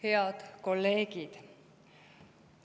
Head kolleegid!